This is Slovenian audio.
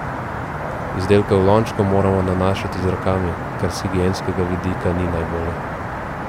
Izdelke v lončku moramo nanašati z rokami, kar s higienskega vidika ni najbolje.